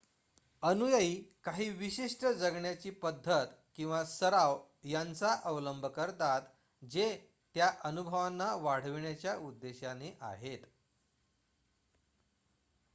अनुयायी काही विशिष्ट जगण्याची पद्धत किंवा सराव यांचा अवलंब करतात जे त्या अनुभवांना वाढविण्याच्या उद्देशाने आहेत